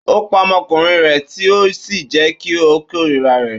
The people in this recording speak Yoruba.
Ó pa ọmọkùnrin rẹ̀ tì ó sì jẹ́ kí ó kórìíra rẹ̀.